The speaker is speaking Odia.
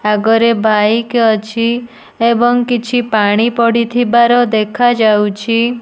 ଆଗରେ ବାଇକ ଅଛି ଏବଂ କିଛି ପାଣି ପଡ଼ିଥିବାର ଦେଖାଯାଉଛି।